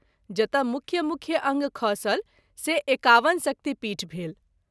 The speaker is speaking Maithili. जतय मुख्य- मुख्य अंग खसल से 51 शक्तिपीठ भेल।